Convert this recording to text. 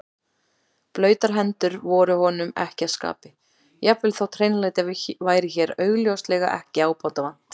Blautar hendur voru honum ekki að skapi, jafnvel þótt hreinlæti væri hér augljóslega ekki ábótavant.